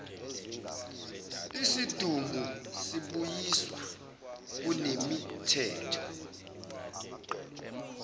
isidumbu sibuyiswa kunemithetho